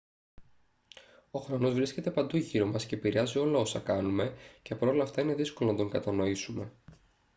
ο χρόνος βρίσκεται παντού γύρω μας και επηρεάζει όλα όσα κάνουμε και παρ' όλα αυτά είναι δύσκολο να τον κατανοήσουμε